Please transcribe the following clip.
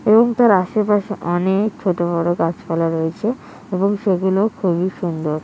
এবং তার আশেপাশে অনেক ছোট বড়ো গাছপালা রয়েছে এবং সেগুলো খুবই সুন্দর ।